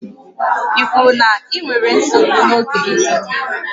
Ị kwuru na ị nwere nsogbu n'oge ị dị ime?